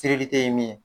ye min ye